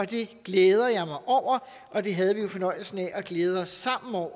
det glæder jeg mig over og det havde vi jo fornøjelsen af at glæde os sammen over